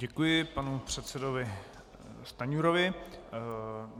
Děkuji panu předsedovi Stanjurovi.